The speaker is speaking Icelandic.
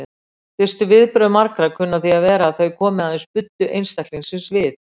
Fyrstu viðbrögð marga kunna því að vera að þau komi aðeins buddu einstaklingsins við.